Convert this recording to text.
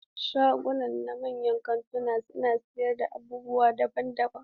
Shaguna a manyan kantuna suna sayar da abubuwa daban-daban.